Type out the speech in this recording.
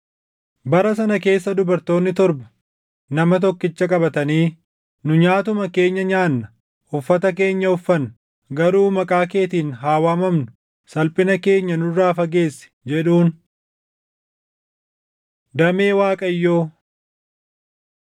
Bara sana keessa dubartoonni torba nama tokkicha qabatanii, “Nu nyaatuma keenya nyaanna; uffata keenya uffanna; garuu maqaa keetiin haa waamamnu. Salphina keenya nurraa fageessi!” jedhuun. Damee Waaqayyoo